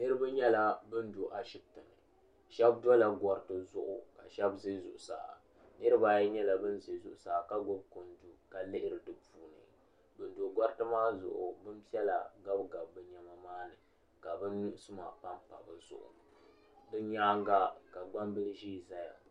Niriba nyɛla ban do ashiptini sheba dola goriti zuɣu ka sheba ʒɛ zuɣusaa niriba ayi nan ʒɛ zuɣusaa ka gbibi kundu ka lihiri dipuuni ban do gariti maa zuɣu maa zuɣu binpiɛla gabi gabi bɛ niɛma maani ka bɛ nu suma panpa bɛ zuɣu bɛ nyaaga ka gbambili ʒee zaya.